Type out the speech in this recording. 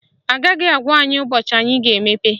Agaghị agwa anyị ụbọchị anyị ga-emepe